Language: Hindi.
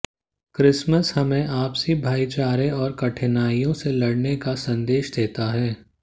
क्रिसमस हमें आपसी भाईचारे और कठिनाइयों से लडऩे का संदेश देता है